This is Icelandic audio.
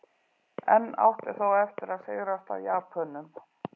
Enn átti þó eftir að sigrast á Japönum.